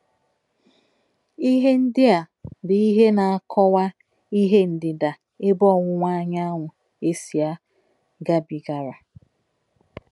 Ihe ndị a bụ ihe na-akọwa ihe Ndịda Ebe Ọwụwa Anyanwụ Esia gabigara.